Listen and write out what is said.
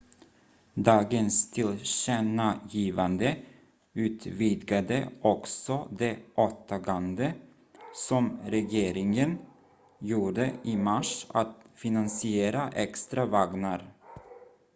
dagens tillkännagivande utvidgade också det åtagande som regeringen gjorde i mars att finansiera extra vagnar